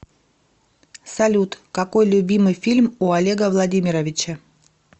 салют какой любимый фильм у олега владимировича